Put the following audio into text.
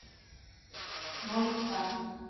нови сад